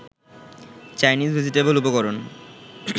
Chinese vegetable উপকরণ